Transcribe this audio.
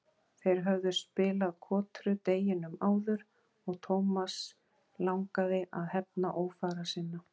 Þeir höfðu spilað kotru deginum áður og Thomas langaði að hefna ófara sinna.